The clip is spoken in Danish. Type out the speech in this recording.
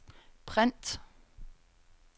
print